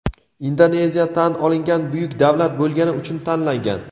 Indoneziya tan olingan buyuk davlat bo‘lgani uchun tanlangan.